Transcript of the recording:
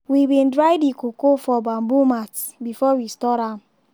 we bin dry the cocoa for bamboo mats before we store am.